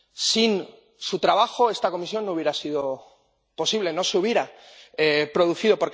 Sin su trabajo, esta comisión no habría sido posible, no se habría producido.